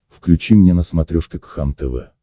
включи мне на смотрешке кхлм тв